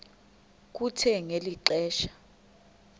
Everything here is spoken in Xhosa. kuthe ngeli xesha